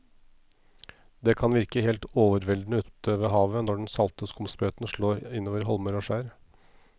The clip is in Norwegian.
Det kan virke helt overveldende ute ved havet når den salte skumsprøyten slår innover holmer og skjær.